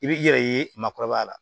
I b'i yɛrɛ ye maakɔrɔba la